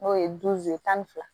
N'o ye tan ni fila